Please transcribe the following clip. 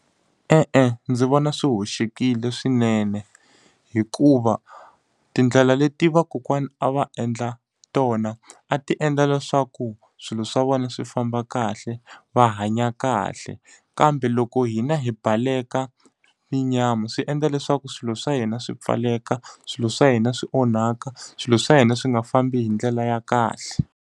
E-e ndzi vona swi hoxekile swinene. Hikuva tindlela leti vakokwana a va endla tona, a ti endla leswaku swilo swa vona swi famba kahle, va hanya kahle. Kambe loko hina hi baleka swi endla leswaku swilo swa hina swi pfaleka, swilo swa hina swi onhaka, swilo swa hina swi nga fambi hi ndlela ya kahle.